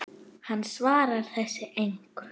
Hann svarar þessu engu.